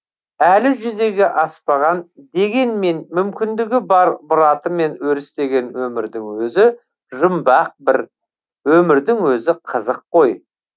әлі жүзеге аспаған дегенмен мүмкіндігі бар мұратымен өрістеген өмірдің өзі жұмбақ бір өмірдің өзі қызық қой